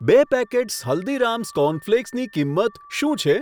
બે packets Haldiram's cornflakes કિંમત શું છે?